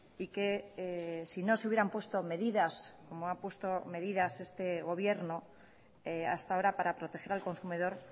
y que si no se hubieran puesto medidas como ha puesto medidas este gobierno hasta ahora para proteger al consumidor